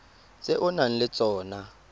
tse o nang le tsona